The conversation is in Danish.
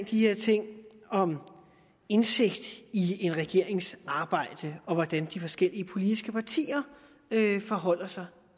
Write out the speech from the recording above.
de her ting om indsigt i en regerings arbejde og hvordan de forskellige politiske partier forholder sig